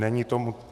Není tomu...